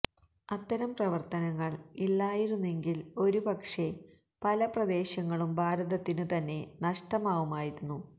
അത്തരം പ്രവർത്തനങ്ങൾ ഇല്ലായിരുന്നെങ്കിൽ ഒരുപക്ഷേ പല പ്രദേശങ്ങളും ഭാരതത്തിനു തന്നെ നഷ്ടമാവുമായിരുന്നു